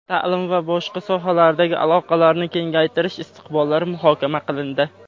ta’lim va boshqa sohalardagi aloqalarni kengaytirish istiqbollari muhokama qilindi.